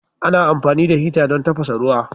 Ana amfani da hita don tafasa ruwa.